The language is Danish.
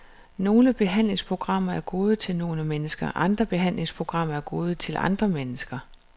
Nogle behandlingsprogrammer er gode til nogle mennesker, andre behandlingsprogrammer er gode til nogle andre mennesker.